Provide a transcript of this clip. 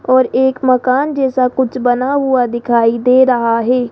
और एक मकान जैसा कुछ बना हुआ दिखाई दे रहा है।